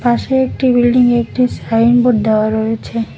পাশে একটি বিল্ডিং -এ একটি সাইনবোর্ড দেওয়া রয়েছে।